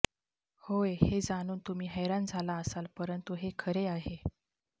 होय हे जाणून तुम्ही हैराण झाला असाल परंतु हे खरे आहे